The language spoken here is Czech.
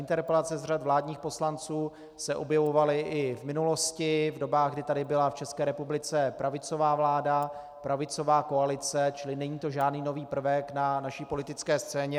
Interpelace z řad vládních poslanců se objevovaly i v minulosti, v dobách, kdy tady byla v České republice pravicová vláda, pravicová koalice, čili není to žádný nový prvek na naší politické scéně.